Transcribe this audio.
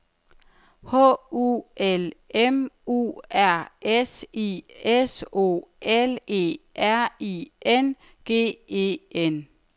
H U L M U R S I S O L E R I N G E N